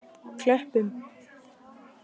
Klöppum